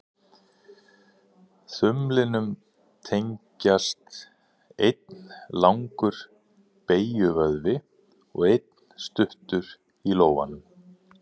Þumlinum tengjast einn langur beygjuvöðvi og einn stuttur í lófanum.